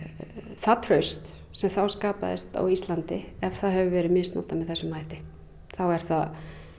það traust sem þá skapaðist á Íslandi ef það hefur verið misnotað með þessum hætti þá er það